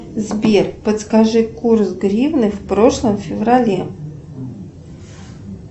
сбер подскажи курс гривны в прошлом феврале